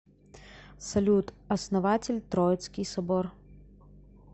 салют основатель троицкий собор